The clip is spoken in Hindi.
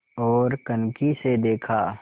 ओर कनखी से देखा